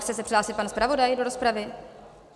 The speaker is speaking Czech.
Chce se přihlásit pan zpravodaj do rozpravy?